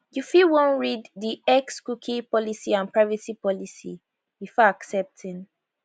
you fit wan read di xcookie policyandprivacy policybefore accepting